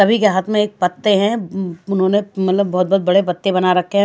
भी के हाथ में एक पत्ते हैं उन्होंने मतलब बहुत-बहुत बड़े पत्ते बना रखे हैं।